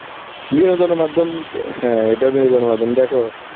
বিনোদনের মাধ্যম~ তো হ্যাঁ এটা বিনোদনের মাধ্যম, দেখো